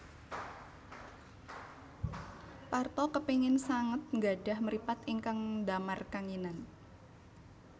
Parto kepingin sanget nggadhah mripat ingkang ndamar kanginan